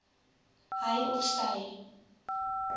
hy of sy